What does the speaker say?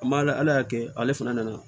A ma ala y'a kɛ ale fana nana